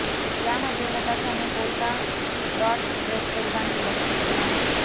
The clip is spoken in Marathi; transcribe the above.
यामध्ये नताशाने पोल्का डॉट्स ड्रेस परिधान केल्याचे दिसत आहे